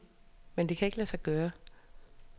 Men det kan lade sig gøre.